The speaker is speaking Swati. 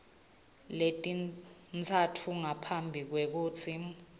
letintsatfu ngaphambi kwekutsi